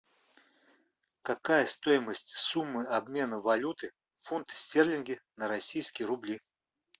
какая стоимость суммы обмена валюты фунты стерлинги на российские рубли